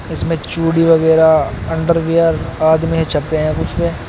इसमें चूड़ी वगैरा अंडरवियर आदमी है छपे है कुछ पे।